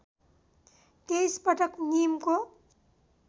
२३ पटक नीमको